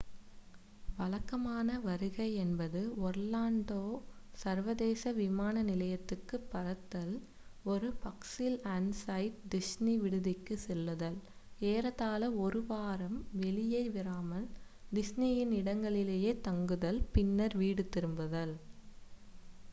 """வழக்கமான" வருகை என்பது ஒர்லான்டோ சர்வதேச விமான நிலையத்திற்கு பறத்தல் ஒரு பஸ்சில் ஆன் சைட் டிஸ்னி விடுதிக்குச் செல்லுதல் ஏறத்தாழ ஒரு வாரம் வெளியே வராமல் டிஸ்னியின் இடங்களிலேயே தங்குதல் பின்னர் வீடு திரும்புதல்.